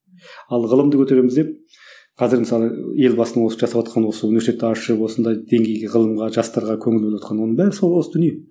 ал ғылымды көтереміз деп қазір мысалы елбасының осы жасаватқан осы университетті ашып осындай деңгейге ғылымға жастарға көңіл бөліватқаны оның бәрі сол осы дүние